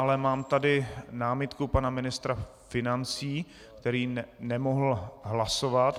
Ale mám tady námitku pana ministra financí, který nemohl hlasovat.